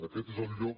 aquest és el lloc